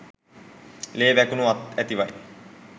ලේ වැකුණු අත් ඇතිවයි